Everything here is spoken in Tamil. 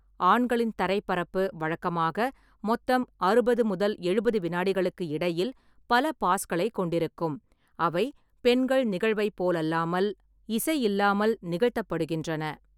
ஆண்களின் தரைப்பரப்பு வழக்கமாக மொத்தம் அறுபது முதல் எழுபது வினாடிகளுக்கு இடையில் பல பாஸ்களைக் கொண்டிருக்கும், அவை பெண்கள் நிகழ்வைப் போலல்லாமல், இசை இல்லாமல் நிகழ்த்தப்படுகின்றன.